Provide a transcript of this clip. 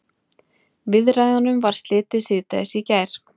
Viðræðunum var slitið síðdegis í gær